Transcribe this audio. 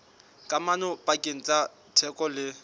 kamano pakeng tsa theko le